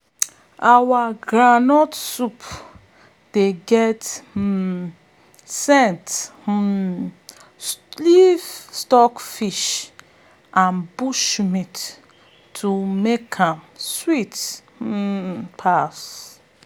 our groundnut soup dey get um scent um leaf stockfish and bushmeat to make am sweet um pass!